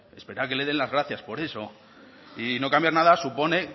que le den las gracias por eso y no cambiar nada supone